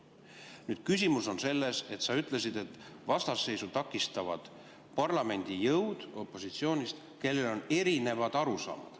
Nüüd on küsimus selles, et sa ütlesid, et vastasseisu parlamendi jõud opositsioonist, kellel on erinevad arusaamad.